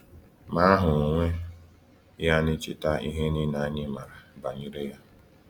Ma aha onwe ya na-echeta ihe niile anyị maara banyere Ya.